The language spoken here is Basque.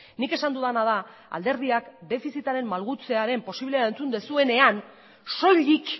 nik esan dudana da alderdiak defizitaren malgutzearen posiblea entzun duzuenean soilik